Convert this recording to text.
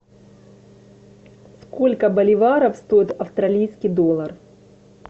сколько боливаров стоит австралийский доллар